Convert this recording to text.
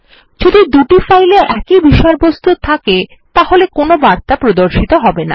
যদি দুটি ফাইল এ একই বিষয়বস্তু থাকে তবে কোন বার্তা প্রদর্শিত হবে না